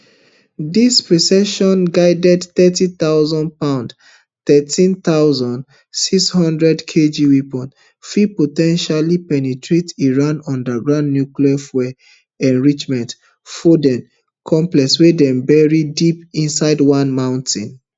dis precisionguided thirty thousandpound thirteen thousand, six hundred kg weapon fit po ten tially penetrate iran underground nuclear fuel enrichment fordo complex wey dem bury deep inside one mountain